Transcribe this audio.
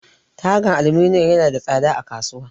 Tagan aluminum yana da tsada a kasuwa.